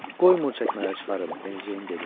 Qoymur çəkmələri çıxarım, Beneceyn dedi.